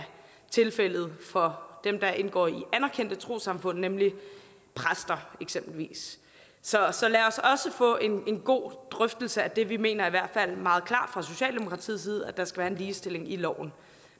tilfældet for dem der indgår i anerkendte trossamfund nemlig præster eksempelvis så så lad os også få en god drøftelse af det vi mener i hvert fald meget klart fra socialdemokratiets side at der skal være en ligestilling i loven